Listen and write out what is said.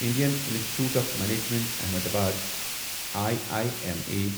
Indian Institute of Management Ahmedabad I I M A